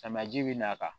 Samiyaji bi n'a kan